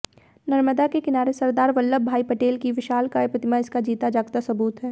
नर्मदा के किनारे सरदार वल्लभ भाई पटेल की विशालकाय प्रतिमा इसका जीता जागता सुबूत है